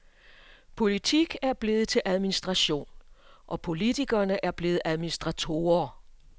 Politik er blevet til administration, og politikerne er blevet til administratorer.